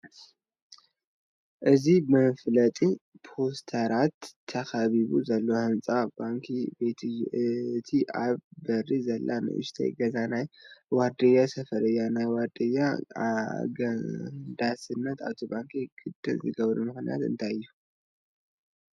እዚ ብመፋለጢ ፖስተራት ተኸቢቡ ዘሎ ህንፃ ባንክ ቤት እዩ፡፡ እታ ኣብ በሪ ዘላ ንኡሽተይ ገዛ ናይ ዋርድያ ሰፈር እያ፡፡ ናይ ዋርድያ ኣገዳስነት ኣብ ባንኪ ቤት ግድን ዝገብሮ ምኽንያት እንታይ እዩ?